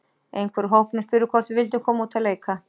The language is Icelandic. Einhver úr hópnum spurði hvort við vildum koma út að leika.